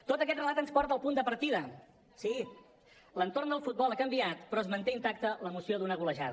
tot aquest relat ens porta al punt de partida sí l’entorn del futbol ha canviat però es manté intacte l’emoció d’una golejada